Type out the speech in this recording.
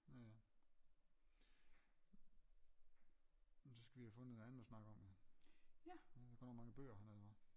Ja ja men så skal vi have fundet noget andet at snakke om jo der er godt nok mange bøger hernede hva